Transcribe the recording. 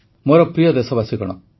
ମୋର ପ୍ରିୟ ଦେଶବାସୀଗଣ